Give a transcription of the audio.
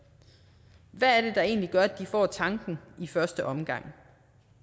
det hvad er det der egentlig gør at de får tanken i første omgang